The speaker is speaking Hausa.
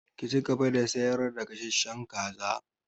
Ki cigaba da sayar da gasasshen kaza!